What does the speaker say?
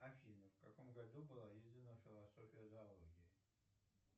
афина в каком году была издана философия зоологии